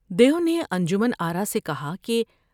دیو نے انجمن آرا سے کہا کہ ۔